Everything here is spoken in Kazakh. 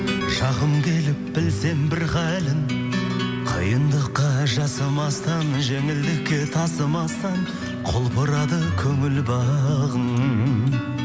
жақын келіп білсем бір халін қиындыққа жасымастан жеңілдікке тасымастан құлпырады көңіл бағым